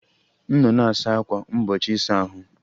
M nọ na-asa ákwà mgbochi ịsa ahụ